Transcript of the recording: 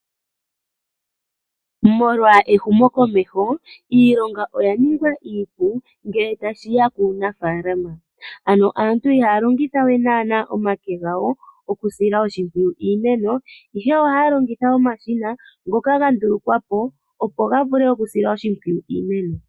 Molwa ehumo komeho iilonga oya ningwa iipu ngele tashi ya kuunafaalama, ano aantu iiha longitha we nana omake gawo okusila oshimpwuyu iimeno ihe oha ya longitha omashina ngoka ga ndulukwa po ga vule okusila oshimpwuyu iimeno.